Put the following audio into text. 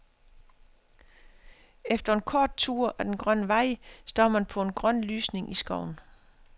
Efter en kort tur ad den grønne vej, står man på en grøn lysning i skoven.